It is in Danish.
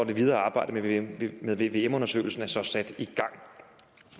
det videre arbejde med vvm med vvm undersøgelsen er så sat i gang